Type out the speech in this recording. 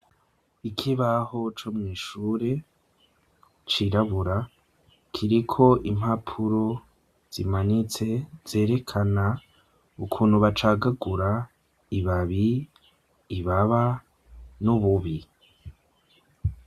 Ikibaho co mwishure cirabura, kiriko impapuro zimanitse zerekana ukuntu bacagagura, ibabi, ibaba n' ububi.